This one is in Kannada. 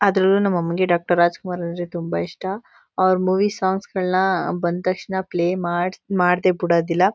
ಅದ್ರಲ್ಲೂ ನಮ್ ಅಮ್ಮಂಗೆ ಡಾಕ್ಟರ್ ರಾಜಕುಮಾರ್ ಅಂದ್ರೆ ತುಂಬಾ ಇಷ್ಟ ಅವರ ಮೂವಿ ಸಾಂಗ್ ಸ್ ಗಳ್ನ ಬಂತಕ್ಶಣ ಪ್ಲೇ ಮಾಡ್ ಮಾಡ್ಡೇ ಬುಡೋದಿಲ್ಲ